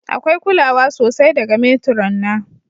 Akwai kulawa sosai daga matron na.